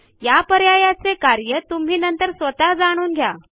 ह्या पर्याया चे कार्य तुम्ही नंतर स्वतः जाणून घ्या